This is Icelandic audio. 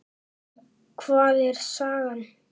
Um hvað er sagan?